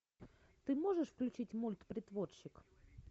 ты можешь включить мульт притворщик